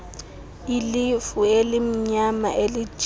ilifu elimnyama elijinga